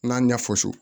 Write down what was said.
N'a ɲɛ fɔ so